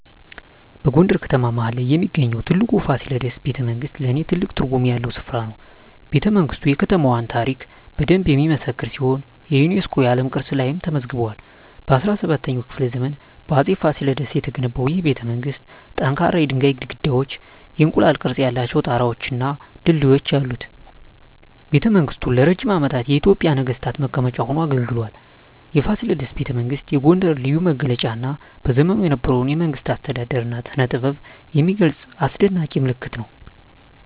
በጎንደር ከተማ መሀል ላይ የሚገኘው የፋሲለደስ ቤተመንግሥት ለኔ ትልቅ ትርጉም ያለው ስፍራ ነው። ቤተመንግስቱ የከተማዋን ታሪክ በደንብ የሚመሰክር ሲሆን የዩኔስኮ የዓለም ቅርስ ላይም ተመዝግቧል። በ17ኛው ክፍለ ዘመን በአፄ ፋሲለደስ የተገነባው ይህ ቤተመንግሥት ጠንካራ የድንጋይ ግድግዳዎች፣ የእንቁላል ቅርፅ ያላቸው ጣራወች እና ድልድዮች አሉት። ቤተመንግሥቱ ለረጅም ዓመታት የኢትዮጵያ ነገሥታት መቀመጫ ሆኖ አገልግሏል። የፋሲለደስ ቤተመንግሥት የጎንደርን ልዩ መገለጫ እና በዘመኑ የነበረውን የመንግሥት አስተዳደር እና ስነጥበብ የሚገልጽ አስደናቂ ምልክት ነው።